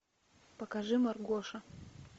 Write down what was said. покажи маргоша